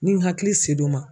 Ni hakili ma.